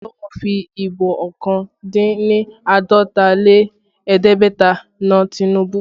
Awolowo fi Ìbò ọkàn dín ní àádọ́ta lé ẹ̀ẹ́dẹ́gbẹ̀ta na Tinubu